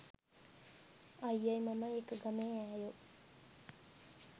අයියයි මමයි එක ගමේ ඈයෝ